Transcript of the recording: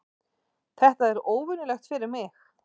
Þetta er óvenjulegt fyrir mig.